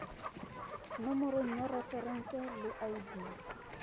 nomoro ya referense le id